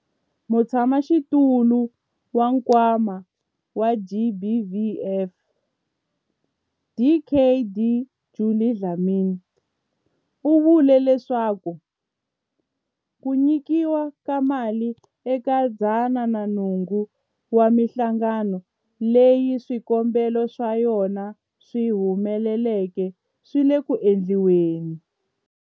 Mutshamaxitulu wa Nkwama wa GBVF, Dkd Judy Dlamini, u vule leswaku ku nyikiwa ka mali eka 108 wa mihlangano leyi swikombelo swa yona swi humeleleke swi le ku endliweni.